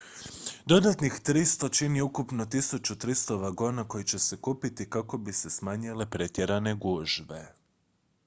dodatnih 300 čini ukupno 1300 vagona koji će se kupiti kako bi se smanjile pretjerane gužve